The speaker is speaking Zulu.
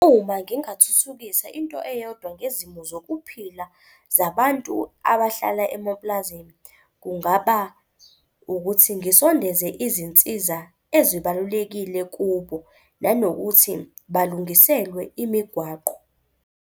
Uma ngingathuthukisa into eyodwa ngezimo zokuphila zabantu abahlala emapulazini, kungaba ukuthi ngisondeze izinsiza ezibalulekile kubo nanokuthi balungiselwe imigwaqo.